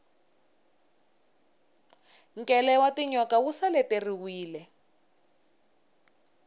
nkele wa tinyoka wu seleteriwile